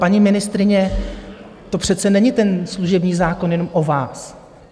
Paní ministryně, to přece není ten služební zákon jen o vás.